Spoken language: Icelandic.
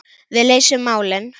Við leysum málin.